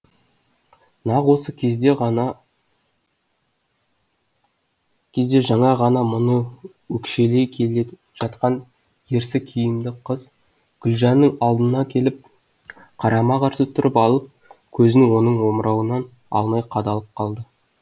нақ осы кезде жаңа ғана мұны өкшелей келе жатқан ерсі киімді қыз гүлжанның алдына келіп қарама қарсы тұрып алып көзін оның омырауынан алмай қадалып қалды